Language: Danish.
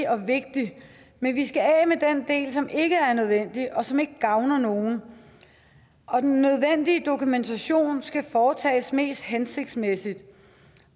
og vigtigt men vi skal af med den del som ikke er nødvendig og som ikke gavner nogen og den nødvendige dokumentation skal foretages mest hensigtsmæssigt